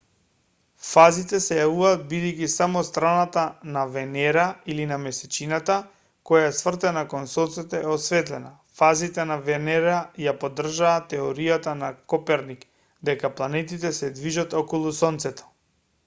фазите се јавуваат бидејќи само страната на венера или на месечината која е свртена кон сонцето е осветлена. фазите на венера ја поддржаа теоријата на коперник дека планетите се движат околу сонцето